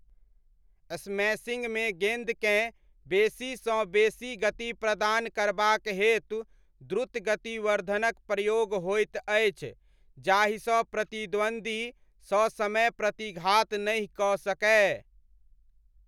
स्मैशिङ्गमे गेन्दकेँ बेसीसँ बेसी गति प्रदान करबाक हेतु द्रुत गतिवर्धनक प्रयोग होइत अछि जाहिसँ प्रतिद्वन्द्वी ससमय प्रतिघात नहि कऽ सकय।